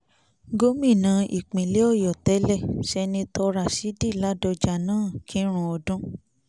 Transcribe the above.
gómìnà ìpínlẹ̀ ọ̀yọ́ tẹ́lẹ̀ sẹnetọ ràṣídì ládọ́jà náà kírun ọdún